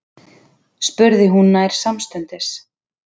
spurði hún nær samstundis.